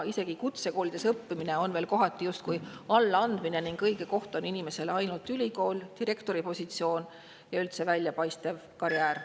Isegi kutsekoolides õppimine on veel kohati justkui allaandmine ning õige koht inimesele on ainult ülikool, direktori positsioon ja üldse väljapaistev karjäär.